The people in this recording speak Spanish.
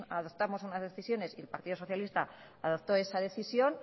adoptamos unas decisiones y el partido socialista adoptó esa decisión